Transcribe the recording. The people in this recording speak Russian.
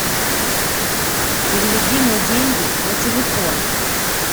переведи мне деньги на телефон